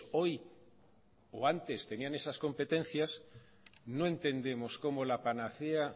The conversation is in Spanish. hoy o antes tenían esas competencias no entendemos cómo la panacea